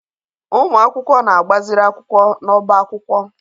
Ụmụ akwụkwọ na-agbaziri akwụkwọ n'ọbá akwụkwọ